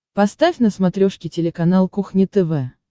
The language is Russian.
поставь на смотрешке телеканал кухня тв